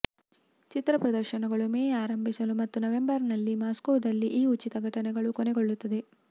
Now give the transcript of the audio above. ಚಿತ್ರ ಪ್ರದರ್ಶನಗಳು ಮೇ ಆರಂಭಿಸಲು ಮತ್ತು ನವೆಂಬರ್ನಲ್ಲಿ ಮಾಸ್ಕೋದಲ್ಲಿ ಈ ಉಚಿತ ಘಟನೆಗಳು ಕೊನೆಗೊಳ್ಳುತ್ತದೆ